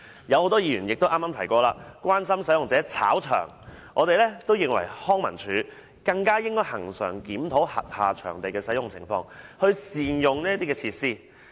很多議員剛才也關心到使用者"炒場"的問題，我認為康文署更應恆常檢討轄下場地的使用情況，善用設施。